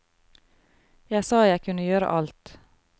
Jeg sa jeg kunne gjøre alt.